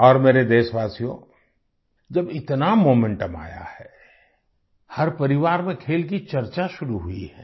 और मेरे देशवासियो जब इतना मोमेंटम आया है हर परिवार में खेल की चर्चा शुरू हुई है